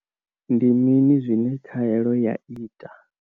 Ndi mini zwine khaelo ya ita?